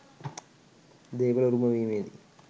දේපල උරුම වීමේදී